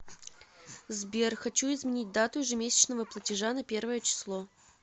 сбер хочу изменить дату ежемесячного платежа на первое число